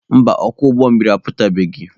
Mba, ọkwọ ụgbọ mmiri apụtabeghị.